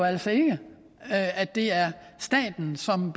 altså ikke at det er staten som